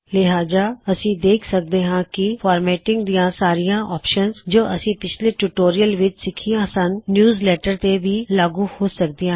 ਲਿਹਾਜਾ ਅਸੀ ਦੇਖ ਸਕਦੇ ਹਾਂ ਕਿ ਫਾਰਮੈਟਿਂਗ ਦਿਆਂ ਸਾਰੀਆ ਆਪਸ਼ਨਸ ਜੋ ਅਸੀ ਪਿਛਲੇ ਟਿਊਟੋਰਿਯਲਜ਼ ਵਿੱਚ ਸਿੱਖਿਆ ਸਨ ਨਿਯੂਜਲੈੱਟਰ ਤੇ ਵੀ ਲਾਗੂ ਹੋ ਸਕਦੀਆ ਹਨ